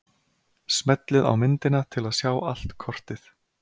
Smellið á myndina til að sjá allt kortið.